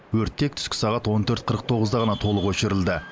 өрт тек түскі сағат он төрт қырық тоғызда ғана толық өшірілді